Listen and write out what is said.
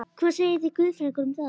Hvað segið þið guðfræðingar um það?